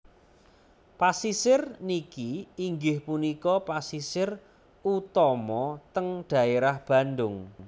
Pasisir niki inggih punika pasisir utama teng daerah Bandung